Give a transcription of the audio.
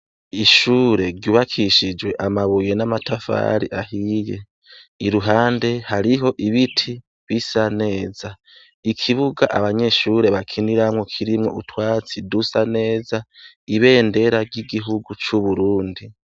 Ishuri ryubakishije amabuye n'amatafari ahiye . Iruhande, hariho ibiti bisa neza. Ikibuga abanyeshure bakinirako, kirimwo utwatsi dusa neza n'ibendera ry'igihugu c'Uburundi.